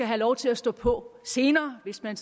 have lov til at stå på senere hvis man